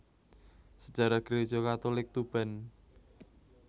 Sejarah Gereja Katolik Tuban